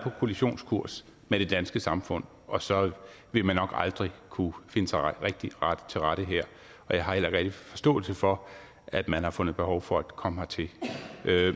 på kollisionskurs med det danske samfund og så vil man nok aldrig kunne finde sig rigtig til rette her og jeg har heller ikke rigtig forståelse for at man har fundet behov for at komme hertil